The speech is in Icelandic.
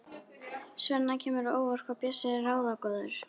Svenna kemur á óvart hvað Bjössi er ráðagóður.